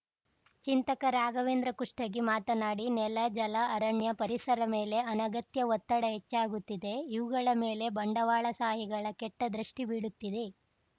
ಚಿಂತಕ ರಾಘವೇಂದ್ರ ಕುಷ್ಟಗಿ ಮಾತನಾಡಿ ನೆಲ ಜಲ ಅರಣ್ಯ ಪರಿಸರ ಮೇಲೆ ಅನಗತ್ಯ ಒತ್ತಡ ಹೆಚ್ಚಾಗುತ್ತಿದೆ ಇವುಗಳ ಮೇಲೆ ಬಂಡವಾಳಶಾಹಿಗಳ ಕೆಟ್ಟದೃಷ್ಟಿಬೀಳುತ್ತಿದೆ